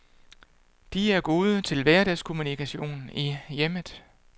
De er gode til hverdagskommunikation i hjemmet.